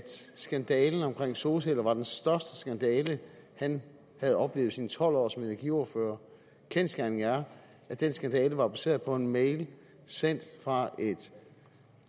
skandalen omkring solceller var den største skandale han havde oplevet i sine tolv år som energiordfører kendsgerningen er at den skandale var baseret på en mail sendt fra en